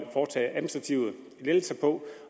foretage administrative lettelser på